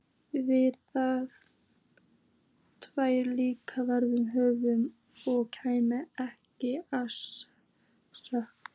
Víðar væru líka veður hörð og kæmi ekki að sök.